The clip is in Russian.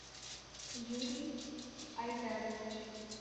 юрий айдарович